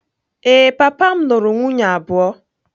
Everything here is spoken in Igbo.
Ee, papa m lụrụ nwunye abụọ.